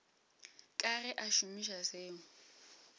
ka ge a šomiša seo